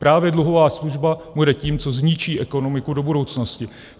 Právě dluhová služba bude tím, co zničí ekonomiku do budoucnosti.